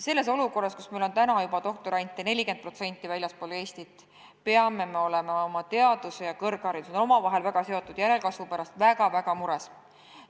Selles olukorras, kus meil on 40% doktorantidest väljastpoolt Eestit, peame olema oma teaduse ja kõrghariduse – need on omavahel väga seotud – järelkasvu pärast väga-väga mures.